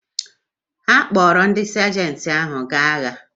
Ha kpọrọ ndị sajenti ahụ gaa agha?